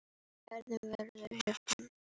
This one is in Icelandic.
Hver verður hetjan?